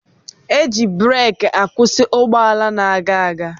Eji bureki akwusi ụgbọala na-aga aga.